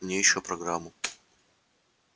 мне ещё программу